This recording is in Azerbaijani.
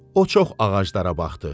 O çox ağaclara baxdı.